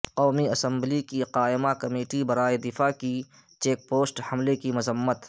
قومی اسمبلی کی قائمہ کمیٹی برائے دفاع کی چیک پوسٹ حملےکی مذمت